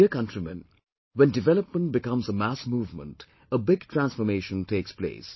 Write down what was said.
My dear countrymen, when development becomes a mass movement, a big transformation takes place